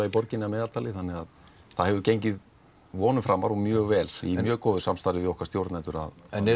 í borginni að meðaltali það hefur gengið vonum framar og mjög vel í mjög góðu samstarfi við okkar stjórnendur en er